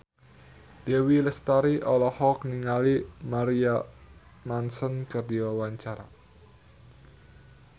Dewi Lestari olohok ningali Marilyn Manson keur diwawancara